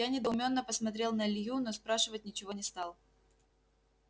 я недоуменно посмотрел на илью но спрашивать ничего не стал